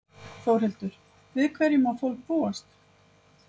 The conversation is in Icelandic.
Þórhildur, við hverju má fólk búast?